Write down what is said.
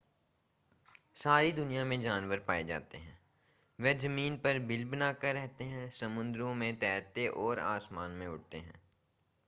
सारी दुनिया में जानवर पाए जाते हैं वे ज़मीन पर बिल बनाकर रहते हैं समुद्रों में तैरते और आसमान में उड़ते हैं